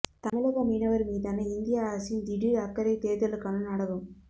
தமிழக மீனவர் மீதான இந்திய அரசின் திடீர் அக்கறை தேர்தலுக்கான நாடகம்